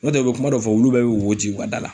O de be yen, u be kuma dɔ fɔ wulu bɛɛ be wo ci u ka da la.